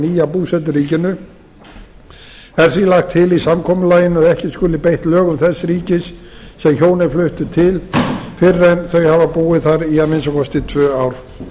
nýja búseturíkinu er því lagt til í samkomulaginu að ekki skuli beitt lögum þess ríkis sem hjónin fluttu til fyrr en þau hafa búið þar í að minnsta kosti tvö ár